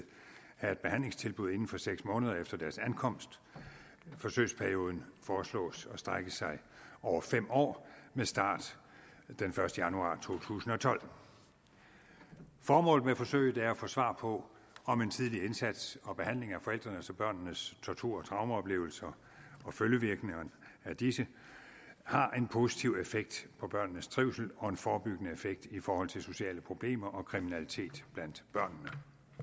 have et behandlingstilbud inden for seks måneder efter deres ankomst forsøgsperioden foreslås at strække sig over fem år med start den første januar to tusind og tolv formålet med forsøget er at få svar på om en tidlig indsats og behandling af forældrenes og børnenes tortur og traumeoplevelser og følgevirkningerne af disse har en positiv effekt på børnenes trivsel og en forebyggende effekt i forhold til sociale problemer og kriminalitet blandt børnene